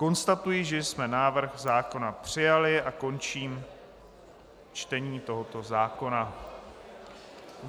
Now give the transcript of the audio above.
Konstatuji, že jsme návrh zákona přijali a končím čtení tohoto zákona.